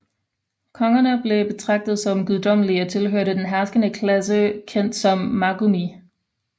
Kongerne blev betragtet som guddommelige og tilhørte den herskende klasse kendt som Magumi